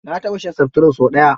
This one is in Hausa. Na taɓa shan seftirin sau ɗaya.